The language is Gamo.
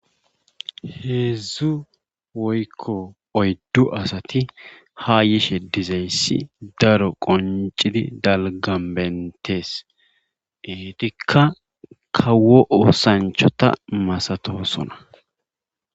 Heedzdzu woykko oydu asati ha yishe diyayssi daro qonccidi dalggan beetees. eetikka kawo oosanchata masatoosona.